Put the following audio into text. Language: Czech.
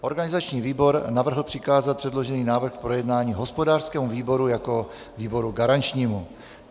Organizační výbor navrhl přikázat předložený návrh k projednání hospodářskému výboru jako výboru garančnímu.